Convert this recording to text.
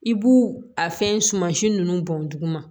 I b'u a fɛn suman si ninnu bɔn duguma